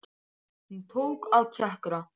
Hún tók að kjökra.